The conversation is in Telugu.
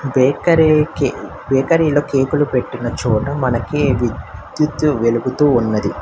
బేకరి కి బేకరీలో కేకులు పెట్టిన చోట మనకి విద్యుత్ వెలుగుతూ ఉన్నది.